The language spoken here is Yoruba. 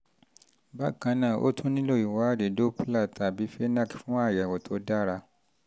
bákan náà o tún nílò ìwádìí usg-doppler tàbí fnac fún àyẹ̀wò tó dára!